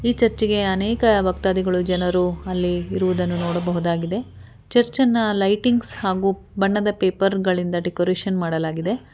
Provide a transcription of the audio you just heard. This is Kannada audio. ಈ ಚರ್ಚೆಗೆ ಅನೇಕ ಭಕ್ತಾದಿಗಳು ಜನರು ಅಲ್ಲಿ ಇರುವುದನ್ನು ನೋಡಬಹುದಾಗಿದೆ ಚರ್ಚನ್ನ ಲೈಟಿಂಗ್ಸ್ ಹಾಗು ಬಣ್ಣದ ಪೇಪರ್ ಗಳಿಂದ ಡೆಕೋರೇಷನ್ ಮಾಡಲಾಗಿದೆ.